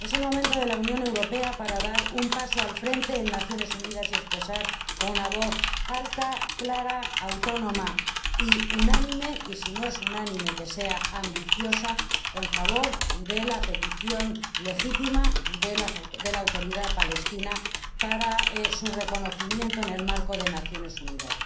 Es el momento de la Unión Europea para dar un paso al frente en las Naciones Unidas y expresar con una voz alta, clara, autónoma y unánime y si no es unánime que sea ambiciosa que está a favor de la petición, legítima, de la Autoridad Palestina para ser reconocida en el marco de las Naciones Unidas.